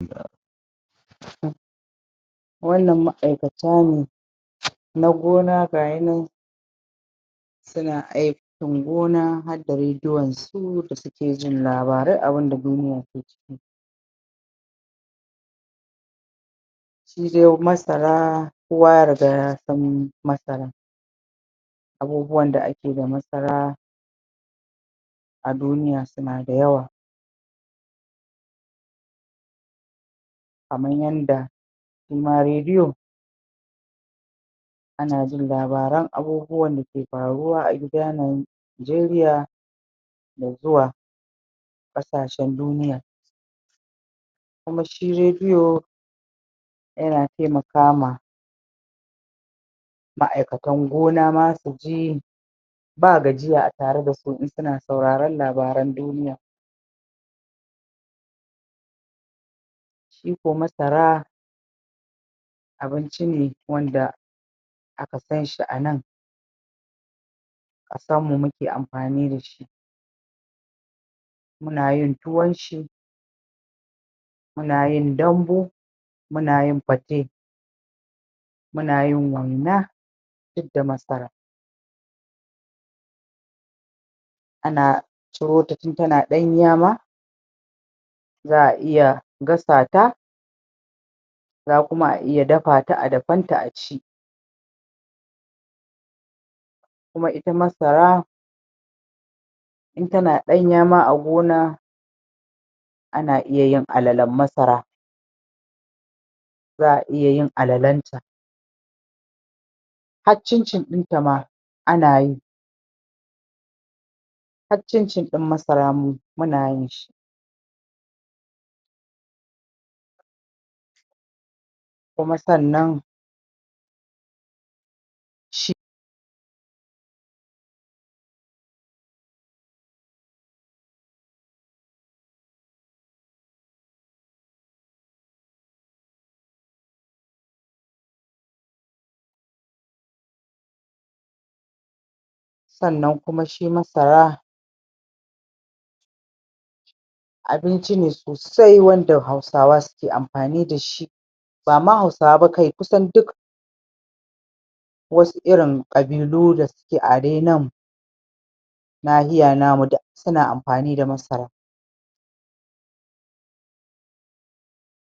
wannan ma'aikata ne na gona gainan suna aikin gona har da radion su da suke jin labarai abin da duniya ta ke shi dai masara kowa ya riga ya san masara abubuwan da ake da masara a duniya su na da yawa kaman yanda shi ma radio ana jin labaran abubuwa Najeriya da zuwa kasashen duniya kuma shi radio ya na taimakama ma'aikatan gona ma su ji ba gajiya a tare da su in suna sauraran labaran duniya shi ko masara abinci ne wanda akan sn shi a nan a sa mu muke amfani da shi muna yin tuwon shi muna yin dambu muna yin pate muna yin waina duk da masara ana ciro ta tin ta na danya ma za'a iya gasa ta za a kuma iya dafa ta a dafan ta a ci kuma ita masara in ta na danya ma a gona ana iya yi alalen masara za'a iya yin alalen ta har chin chin din ta ma ana yi har chin chin masara muna yin shi kuma sannan shi sannan kuma shi masara abinci ne sosai wanda hausawa suke amfani da shi ba ma hausawa ba kawai kusan duk wasu irin kabilu da suke a dai nan lahiya namu duksuna amfani da masara